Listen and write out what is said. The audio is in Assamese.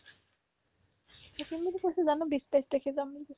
থাকিম বুলি কৈছে জানো বিশ তেইছ তাৰিখে যাম বুলি কৈছে